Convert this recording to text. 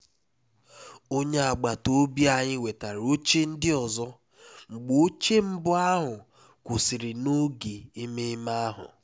onye agbata obi anyị wetara oche ndị ọzọ mgbe oche mbụ ahụ kwụsịrị n'oge ememe ahụ